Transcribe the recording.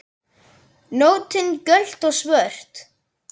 Nóttin köld og svört.